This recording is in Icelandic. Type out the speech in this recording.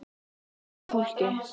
Það léttir á fólki.